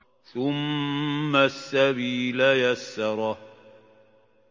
ثُمَّ السَّبِيلَ يَسَّرَهُ